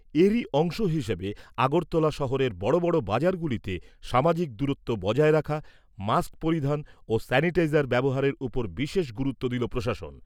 এরই অংশ হিসেবে আগরতলা শহরের বড়বড় বাজারগুলিতে সামাজিক দূরত্ব বজায় রাখা, মাস্ক পরিধান ও স্যানিটাইজার ব্যবহারের ওপর বিশেষ গুরুত্ব দিল প্রশাসন।